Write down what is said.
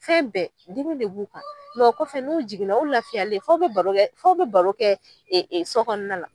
Fɛn bɛɛ dimi de b'u kɔfɛ n'u jiginna u lafiyalen f'aw bɛ baro kɛ baro kɛ so kɔnɔna la.